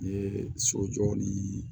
N ye sojɔ ni